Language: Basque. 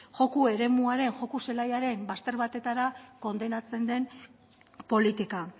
joko eremuaren joko zelaiaren bazter batetara kondenatzen den politika